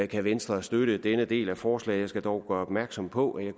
kan venstre støtte denne del af forslaget jeg skal dog gøre opmærksom på at jeg